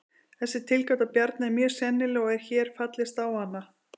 Þessi tilgáta Bjarna er mjög sennileg og er hér fallist á hana.